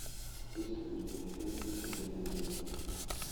есть ли у тебя фильм где то между